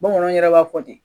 Bamananw yɛrɛ b'a fɔ ten